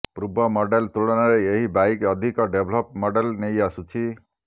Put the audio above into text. ପୂର୍ବ ମଡେଲ ତୁଳନାରେ ଏହି ବାଇକ୍ ଅଧିକ ଡେଭଲପ ମଡେଲ ନେଇ ଆସୁଛି